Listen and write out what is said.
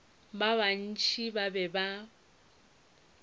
ba bantši ba be ba